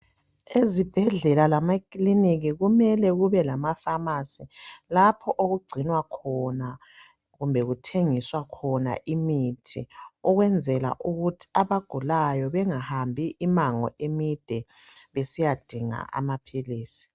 Ezibhedlela lamakilinika kumele kube lama"pharmacy" lapho okugcinwa khona kumbe kuthengiswa khona imithi ukwenzela ukuthi abagulayo bengahambi imango emide besiyadinga amaphilisi.